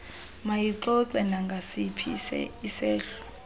mayixoxe nangasiphi isehlo